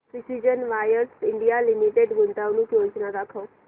precision wires India limited गुंतवणूक योजना दाखव